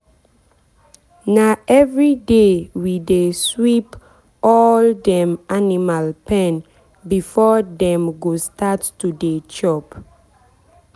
na everyday we dey sweep all dem animal pen before dem go start to dey chop.